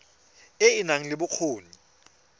e e nang le bokgoni